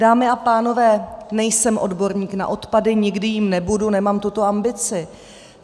Dámy a pánové, nejsem odborník na odpady, nikdy jím nebudu, nemám tuto ambici.